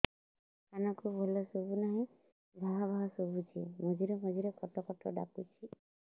କାନକୁ ଭଲ ଶୁଭୁ ନାହିଁ ଭାଆ ଭାଆ ଶୁଭୁଚି ମଝିରେ ମଝିରେ କଟ କଟ ଡାକୁଚି